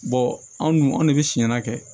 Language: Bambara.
anw dun anw ne bɛ siyanna kɛ